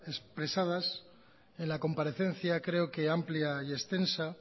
expresadas en la comparecencia creo que amplia y extensa